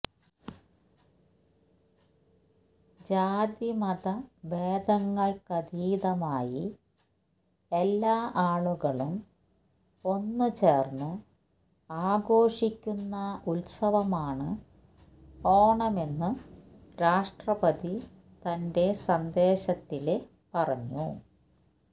ജാതിമത ഭേദങ്ങള്ക്കതീതമായി എല്ലാ ആളുകളും ഒന്നുചേര്ന്ന് ആഘോഷിക്കുന്ന ഉത്സവമാണ് ഓണമെന്നു രാഷ്ട്രപതി തന്റെ സന്ദേശത്തില് പറഞ്ഞു